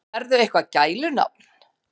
Berðu eitthvað gælunafn?